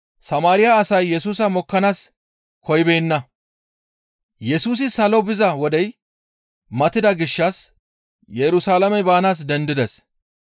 Yesusi salo biza wodey matida gishshas Yerusalaame baanaas dendides.